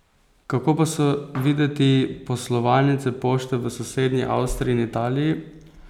Kako pa so videti poslovalnice pošte v sosednji Avstriji in Italiji?